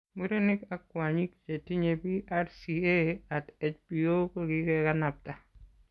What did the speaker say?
Murenik ak kwonyik chetinye BRCA@ HBO kogigekanapta